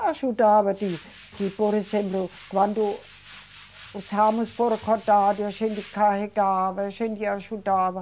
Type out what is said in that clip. Ajudava, tipo, por exemplo, quando os ramos foram cortados, a gente carregava, a gente ajudava.